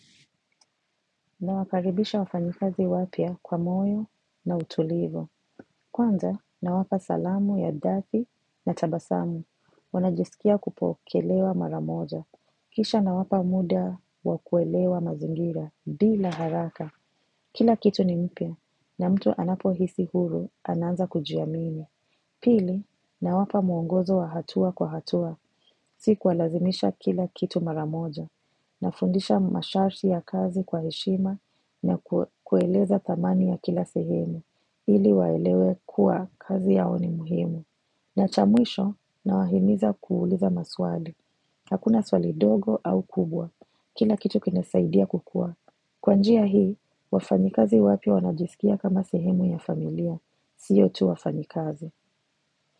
Nawakaribisha wafanyikazi wapya kwa moyo na utulivu. Kwanza nawapa salamu ya dhati na tabasamu. Wanajisikia kupokelewa maramoja. Kisha nawapa muda wa kuelewa mazingira bila haraka. Kila kitu ni mpya na mtu anapohisi huru anaanza kujiamini. Pili nawapa muongozo wa hatua kwa hatua. Siku kuwalazimisha kila kitu mara moja. Nafundisha masharti ya kazi kwa heshima na kuwaeleza thamani ya kila sehemu, ili waelewe kuwa kazi yao ni muhimu. Na cha mwisho nawahimiza kuuliza maswali. Hakuna swali dogo au kubwa, kila kitu kinasaidia kukua. Kwa njia hii, wafanyikazi wapya wanajisikia kama sehemu ya familia, sio tu wafanyikazi.